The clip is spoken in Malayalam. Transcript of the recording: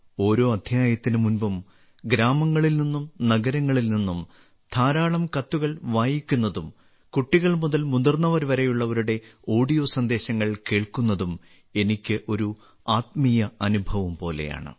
ഓരോ അദ്ധ്യായത്തിന് മുമ്പും ഗ്രാമങ്ങളിൽ നിന്നും നഗരങ്ങളിൽ നിന്നും ധാരാളം കത്തുകൾ വായിക്കുന്നതും കുട്ടികൾ മുതൽ മുതിർന്നവർവരെയുള്ളവരുടെ ഓഡിയോ സന്ദേശങ്ങൾ കേൾക്കുന്നതും എനിക്ക് ഒരു ആത്മീയ അനുഭവം പോലെയാണ്